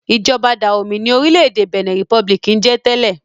Ìjọba Dahomey ni orílẹ̀-èdè Benin Republic ń jẹ tẹ́lẹ̀.